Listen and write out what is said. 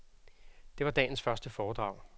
Det var dagens første foredrag.